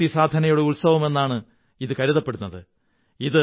ശക്തിസാധനയുടെ ഉത്സവമെന്നാണു കരുതപ്പെടുന്നത്